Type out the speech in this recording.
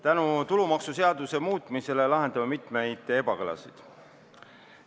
Tänu tulumaksuseaduse muutmisele kaotame me mitmeid ebakõlasid.